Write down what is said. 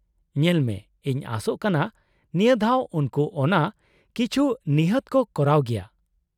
-ᱧᱮᱞᱢᱮ, ᱤᱧ ᱟᱥᱚᱜ ᱠᱟᱱᱟ ᱱᱤᱭᱟᱹ ᱫᱷᱟᱣ ᱩᱱᱠᱩ ᱚᱱᱟ ᱠᱤᱪᱷᱩ ᱱᱤᱦᱟᱹᱛ ᱠᱚ ᱠᱚᱨᱟᱣ ᱜᱮᱭᱟ ᱾